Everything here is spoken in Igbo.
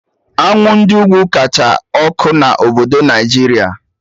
Anwụ Ndị ugwu kacha ọkụ na obodo Naijiria